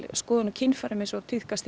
skoðun á kynfærum eins og tíðkast